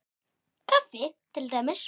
Kaffi til dæmis.